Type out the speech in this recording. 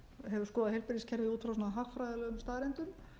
hefur skoðað heilbrigðiskerfið út frá hagfræðilegum staðreyndum